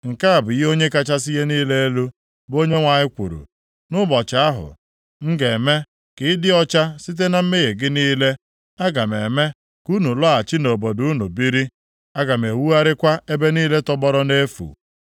“ ‘Nke a bụ ihe Onye kachasị ihe niile elu, bụ Onyenwe anyị kwuru: Nʼụbọchị ahụ m ga-eme ka ị dị ọcha site na mmehie gị niile, aga m eme ka unu lọghachi nʼobodo unu biri, a ga-ewugharịkwa ebe niile tọgbọrọ nʼefu.